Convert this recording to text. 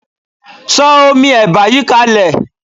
Sọ omi ẹ̀bà yìí kalẹ̀.